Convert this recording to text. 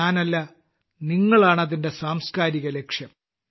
ഞാനല്ല നിങ്ങളാണതിന്റെ സാംസ്കാരിക ലക്ഷ്യം